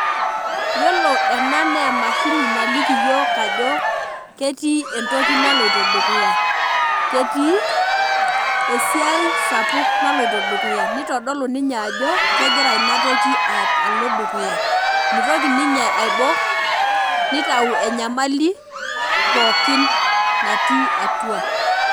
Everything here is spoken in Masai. Yiolo ena naa emashini naliki yiok ajo ketii entoki naloito dukuya , ketii esiai sapuk naloito dukuya , nitodolu ninye ajo kegira inatoki alo dukuya , mitoki ninye aibok , nitau enyamali pookin natii atua.